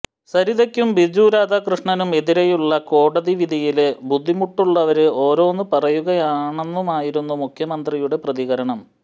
സരിതക്കും ബിജു രാധാകൃഷ്ണനും എതിരെയുള്ള കോടതി വിധിയില് ബുദ്ധിമുട്ടുള്ളവര് ഓരോന്ന് പറയുകയാണെന്നുമായിരുന്നു മുഖ്യമന്ത്രിയുടെ പ്രതികരണം